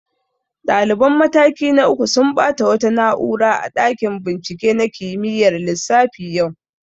Ɗaliban mataki na uku sun ɓata wasu na'ura a ɗakin bincike na kimiyyar lissafi yau